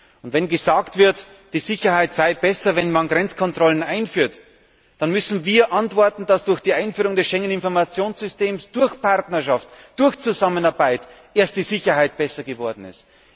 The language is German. Auf die Behauptung, die Sicherheit sei besser, wenn man Grenzkontrollen einführt, müssen wir antworten, dass erst durch die Einführung des Schengener Informationssystems, durch Partnerschaft und Zusammenarbeit die Sicherheit besser geworden ist.